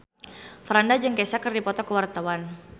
Franda jeung Kesha keur dipoto ku wartawan